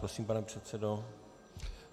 Prosím, pane předsedo.